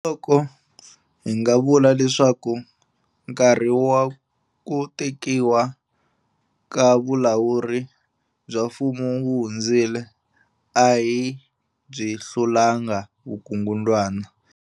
Hambiloko hi nga vula leswaku nkarhi wa ku tekiwa ka vulawuri bya mfumo wu hundzile, a hi byi hlulangi vukungundzwana.